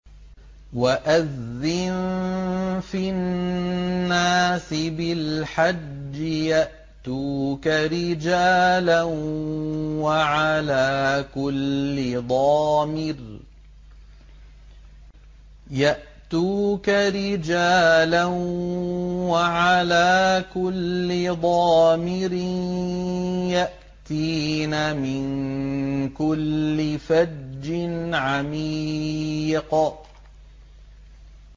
وَأَذِّن فِي النَّاسِ بِالْحَجِّ يَأْتُوكَ رِجَالًا وَعَلَىٰ كُلِّ ضَامِرٍ يَأْتِينَ مِن كُلِّ فَجٍّ عَمِيقٍ